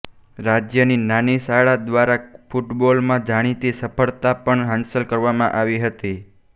રાજ્યની નાની શાળા દ્વારા ફૂટબોલમાં જાણીતી સફળતા પણ હાંસલ કરવામાં આવી હતી